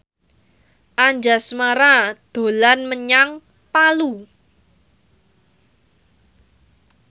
Anjasmara dolan menyang Palu